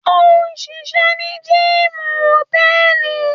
òṣìṣẹ́ ní gíìmù hòtẹ́ẹ̀lì.